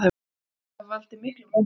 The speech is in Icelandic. Viðbrögðin hafi valdið miklum vonbrigðum